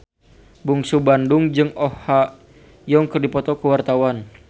Bungsu Bandung jeung Oh Ha Young keur dipoto ku wartawan